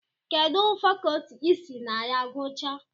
Kedụ fakọtị isi na ya guchaa?